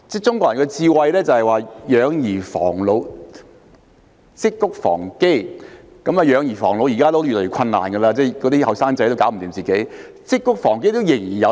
中國人有"養兒防老，積穀防饑"的智慧；"養兒防老"現時已經越來越困難，因為青年人也照顧不了自己，但"積穀防饑"這智慧仍然有用。